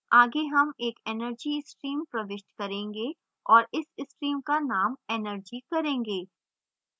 आगे हम एक energy stream प्रविष्ट करेंगे और इस stream का name energy करेंगे